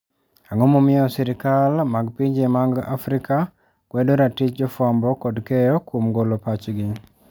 Ang'o momiyo sirkal mag pinje ma afrika kwedo ratich jofwambo kod keyo kuom golo pachgi.